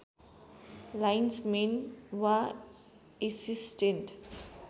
lines main वा assistant